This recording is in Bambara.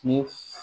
Ni